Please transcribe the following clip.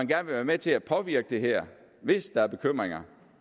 vil være med til at påvirke det her hvis der er bekymringer